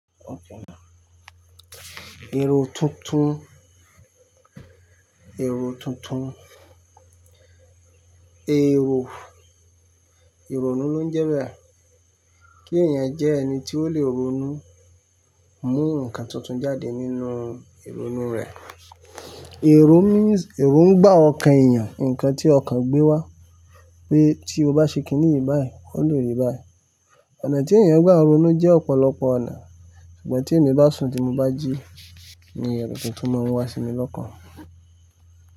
Okay now. Èrò tuntun, èrò tuntun, èrò, ìrònú ló ń jẹ bẹ. Kí ènìyàn jẹ́ ẹni tí ó lè ronú, mú ǹkan tuntun jáde nínú ìrònú rẹ̀. Èrò means èrò ń gbà ọkàn ènìyàn, ǹkan tí ọkàn gbé wá. Pé tí o bá ṣe kíní ìyì báyìí, wọ́n lè rì báyìí. Ọ̀nà tí ènìyàn ń gbà ìrònú jẹ́ ọ̀pọ̀lọpọ̀ ọ̀nà, ṣùgbọ́n tí èmi bá sùn tí mo bá jí ni èrò tuntun máa ń wá sí mi lọ́kàn.